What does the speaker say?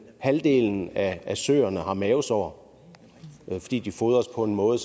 halvdelen af søerne har mavesår fordi de fodres på en måde